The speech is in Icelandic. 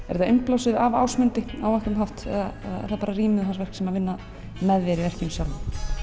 þetta innblásið af Ásmundi á einhvern hátt eða er það bara rýmið sem vinnur með þér í verkinu sjálfu